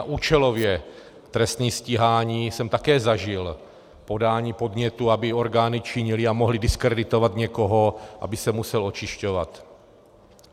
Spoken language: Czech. A účelově trestní stíhání jsem také zažil, podání podnětu, aby orgány činily a mohly diskreditovat někoho, aby se musel očišťovat.